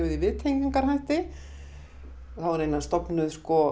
viðtengingarhætti það voru raunar stofnuð